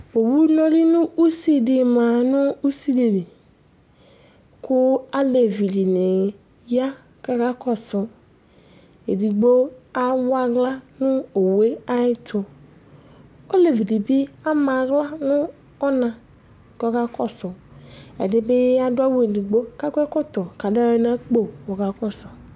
owu nɔlʊ nʊ usi ma nʊ usidili, kʊ alevi dɩnɩ ya kakakɔsu, edigbo awɔ aɣla nʊ owu yɛ ayɛtʊ, olevi dɩbɩ ama aɣla nʊ ɔna kʊ ɔkakɔsʊ, ɛdɩbɩ adʊ awu edigbo kakɔ ɛkɔtɔ kʊ adʊ aɣla nʊ akpo kɔkakɔsʊ